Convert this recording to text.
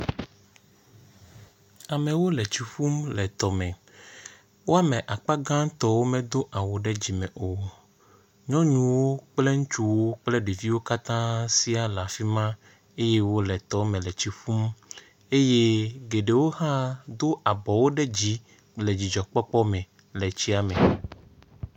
Amewo le tsi ƒum le tɔ me. Wo ame akpagãtɔwo medo awu ɖe dzime o. nyɔnuwo kpel ŋutsuwo kple ɖeviwo katã sia le afi ma eye wo le tɔ me le tsi ƒum eye geɖewo hã do abɔwo ɖe dzi le dzidzɔ kpɔkpɔ me le tsia me.